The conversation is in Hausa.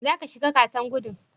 Zaka shiga gasar gudun?